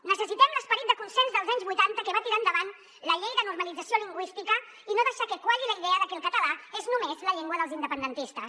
necessitem l’esperit de consens dels anys vuitanta que va tirar endavant la llei de normalització lingüística i no deixar que qualli la idea de que el català és només la llengua dels independentistes